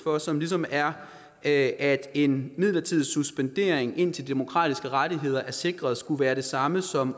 og som som er at en midlertidig suspendering indtil de demokratiske rettigheder er sikret skulle være det samme som